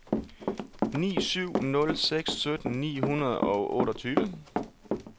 ni syv nul seks sytten ni hundrede og otteogtyve